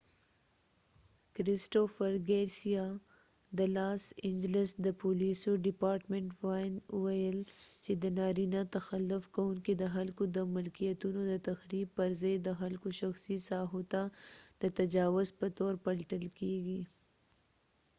کرسټوفر ګارسیا cristopher garcia د لاس انجلس د پولیسو ډیپارټمنټ los angeles police department وياند وويل چې نارینه تخلف کوونکې د خلکو د ملکېتونو د تخریب پر ځای د خلکو شخصی ساحو ته د تجاوز په تور پلټل کېږی